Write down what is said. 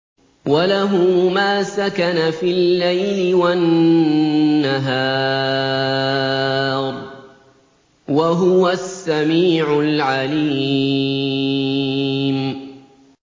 ۞ وَلَهُ مَا سَكَنَ فِي اللَّيْلِ وَالنَّهَارِ ۚ وَهُوَ السَّمِيعُ الْعَلِيمُ